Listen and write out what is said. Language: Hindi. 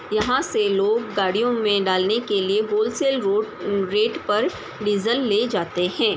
यहाँ से लोग गाड़ियों मै डालने के लिए होलसेल रोट रेट पर डीज़ल ले जाते हैं |